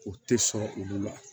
O tɛ sɔrɔ olu la